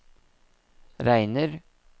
regner